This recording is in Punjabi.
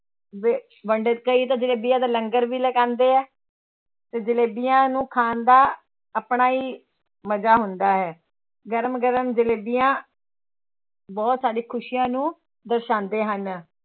ਵਿ ਵੰਡ ਕਈ ਤਾਂ ਜਲੇਬੀਆਂ ਦਾ ਲੰਗਰ ਵੀ ਲਗਾਉਂਦੇ ਹੈ, ਤੇ ਜਲੇਬੀਆਂ ਨੂੰ ਖਾਣ ਦਾ ਆਪਣਾ ਹੀ ਮਜ਼ਾ ਹੁੰਦਾ ਹੈ, ਗਰਮ ਗਰਮ ਜਲੇਬੀਆਂ ਬਹੁਤ ਸਾਡੀਆਂ ਖ਼ੁਸ਼ੀਆਂ ਨੂੰ ਦਰਸਾਉਂਦੇ ਹਨ।